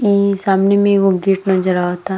ई सामने में एगो गेट नजर आवता।